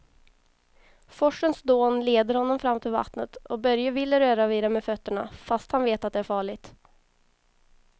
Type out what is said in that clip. Forsens dån leder honom fram till vattnet och Börje vill röra vid det med fötterna, fast han vet att det är farligt.